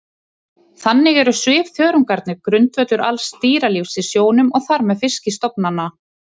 Þannig eru svifþörungarnir grundvöllur alls dýralífs í sjónum og þar með fiskistofnanna.